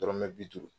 Dɔrɔmɛ bi duuru